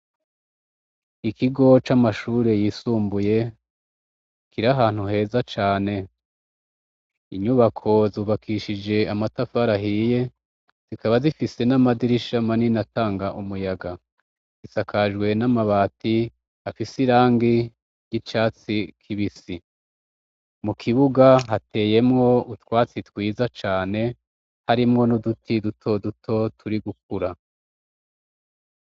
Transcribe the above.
Ikigo c'amashure yisumbuye, kiri ahantu heza cane, inyubako zubakishije amatafari ahiye, zikaba zifise n'amadirisha manini atanga umuyaga. Zisakajwe n'amabati afise irangi ry'icatsi kibisi. Mu kibuga hateyemwo utwatsi twiza cane, harimwo n'uduti dutoduto turi gurakura.